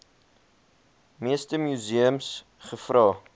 meeste museums gevra